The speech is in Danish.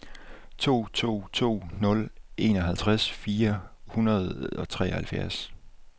to to to nul enoghalvtreds fire hundrede og treoghalvfjerds